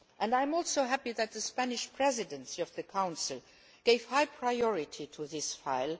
I am also happy that the Spanish Presidency of the Council gave high priority to this file.